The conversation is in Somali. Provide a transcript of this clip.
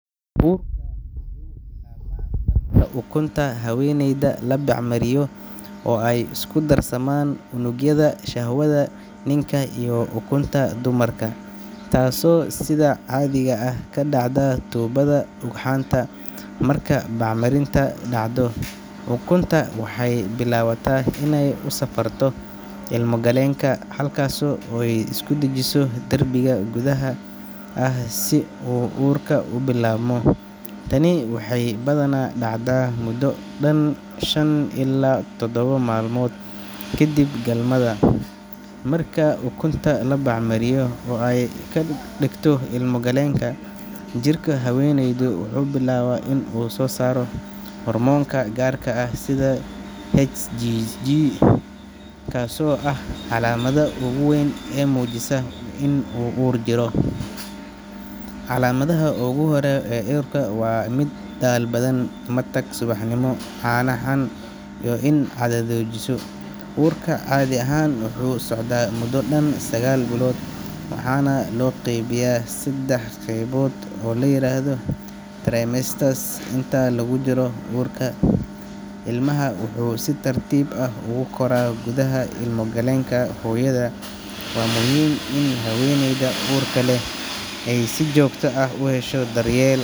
Uurka wuxuu bilaabmaa marka ukunta haweeneyda la bacrimiyo oo ay isku darsamaan unugyada shahwada ninka iyo ukunta dumarka, taasoo sida caadiga ah ka dhacda tuubada ugxanta. Marka bacriminta dhacdo, ukuntu waxay bilaabataa inay u safarto ilmo-galeenka, halkaasoo ay isku dhejiso derbiga gudaha ah si uu uurku u bilaabmo. Tani waxay badanaa dhacdaa muddo dhan shan ilaa todoba maalmood kadib galmada. Marka ukunta la bacrimiyo oo ay ku dhegto ilmo-galeenka, jirka haweeneyda wuxuu bilaabaa inuu soo saaro hormoono gaar ah sida hCG (human chorionic gonadotropin), kaasoo ah calaamadda ugu weyn ee muujisa in uur jiro. Calaamadaha ugu horreeya ee uurka waxaa ka mid ah daal badan, matag subaxnimo, caano-xan, iyo in caadadu joojiso. Uurka caadi ahaan wuxuu socdaa muddo dhan sagaal bilood, waxaana loo qeybiyaa saddex qaybood oo la yiraahdo trimesters. Inta lagu jiro uurka, ilmaha wuxuu si tartiib tartiib ah ugu koraa gudaha ilmo-galeenka hooyada. Waa muhiim in haweeneyda uurka leh ay si joogto ah u hesho daryeel.